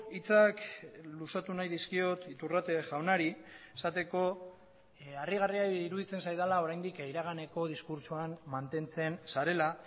hitzak luzatu nahi dizkiot iturrate jaunari esateko harrigarria iruditzen zaidala oraindik iraganeko diskurtsoan mantentzen zarela